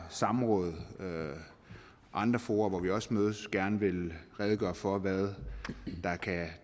samråd og andre fora hvor vi også mødes vil redegøre for hvad